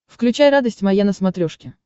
включай радость моя на смотрешке